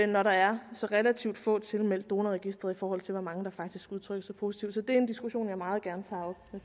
når der er så relativt få tilmeldt donorregistret i forhold til hvor mange der faktisk udtrykker sig positivt så det er en diskussion jeg meget gerne tager